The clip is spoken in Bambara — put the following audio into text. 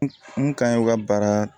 N kan ye u ka baara